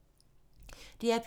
DR P2